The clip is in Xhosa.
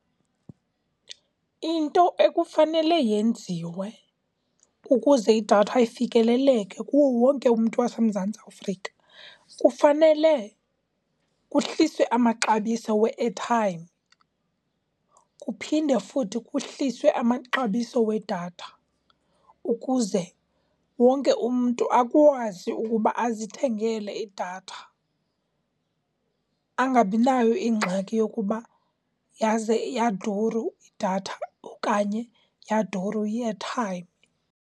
Into ekufanele yenziwe ukuze idatha ifikeleleke kuwo wonke umntu waseMzantsi Afrika, kufanele kuhliswe amaxabiso we-airtime, kuphinde futhi kuhliswe amaxabiso wedatha ukuze wonke umntu akwazi ukuba azithengele idatha angabinayo ingxaki yokuba yaze yaduru idatha okanye yaduru i-airtime.